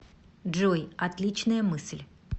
джой отличная мысль